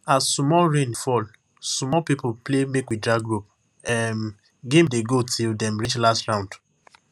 as sumol rain fall sumol people play makewedragrope um game dey go till dem reach last round